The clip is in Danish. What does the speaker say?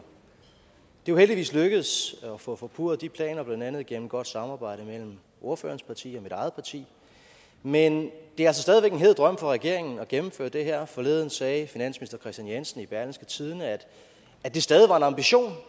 jo heldigvis lykkedes at få forpurret de planer blandt andet igennem et godt samarbejde mellem ordførerens parti og mit eget parti men det er altså stadig væk en hed drøm for regeringen at gennemføre det her forleden sagde finansminister kristian jensen i berlingske tidende at det stadig var en ambition